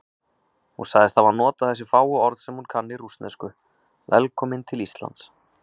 Hún sagðist hafa notað þessi fáu orð sem hún kann í rússnesku: Velkominn til Íslands.